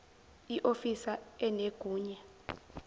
i ofisa enegunya